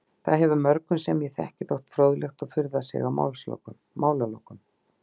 Það hefur mörgum sem ég þekki þótt fróðlegt og furðað sig á málalokum.